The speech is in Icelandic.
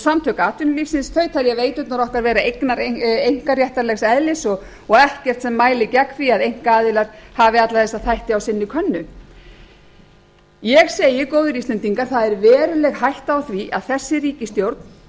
samtök atvinnulífsins telja veiturnar okkar vera einkaréttarlegs eðlis og ekkert sem mæli gegn því að einkaaðilar af alla þessa þætti á sinni könnu ég segi góðir íslendingar það er veruleg hætta á því að þessi ríkisstjórn